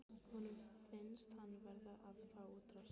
Honum finnst hann verða að fá útrás.